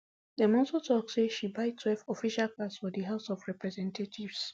dem also tok say she buytwelve official cars for di house of representatives